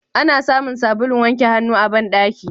Ana samun sabulun wanke hannu a bandaki.